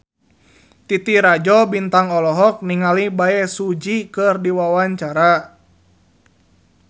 Titi Rajo Bintang olohok ningali Bae Su Ji keur diwawancara